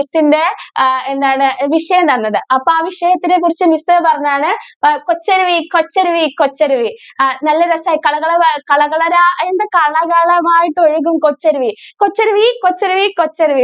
എന്താണ് വിഷയം തന്നത് അപ്പൊ ആ വിഷയത്തെ കുറിച്ചു miss പറഞ്ഞതാണ് കൊച്ചരുവി കൊച്ചരുവി കൊച്ചരുവി ആ നല്ല രസം കള കള കള രാ എന്താ കള കള കള ലായിട്ട് ഒഴുകും കൊച്ചരുവി. കൊച്ചരുവി കൊച്ചരുവി കൊച്ചരുവി.